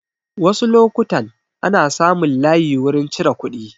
Wasu lokutan ana samun layi wurin cire kuɗi